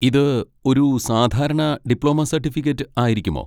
ഇത് ഒരു സാധാരണ ഡിപ്ലോമ സർട്ടിഫിക്കറ്റ് ആയിരിക്കുമോ?